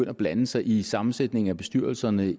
at blande sig i sammensætningen af bestyrelserne i